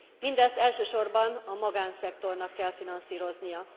Mindezt elsősorban a magánszektornak kell finanszíroznia.